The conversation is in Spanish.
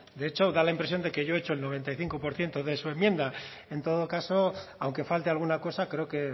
de hecho da la impresión de que yo he hecho el noventa y cinco por ciento de su enmienda en todo caso aunque falte alguna cosa creo que